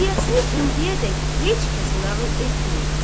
Vaqiəsini indiyədək heç kəsə nağıl etməyib.